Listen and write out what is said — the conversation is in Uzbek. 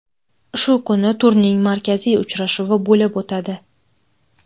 Shu kuni turning markaziy uchrashuvi bo‘lib o‘tadi.